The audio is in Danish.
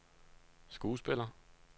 skuespiller